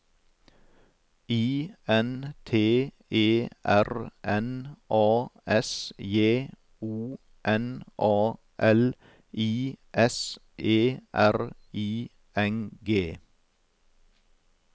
I N T E R N A S J O N A L I S E R I N G